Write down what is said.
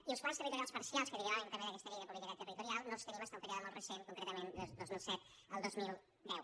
i els plans territorials parcials que derivaven també d’aquesta llei de política territorial no els tenim fins a un període molt recent concretament del dos mil set al dos mil deu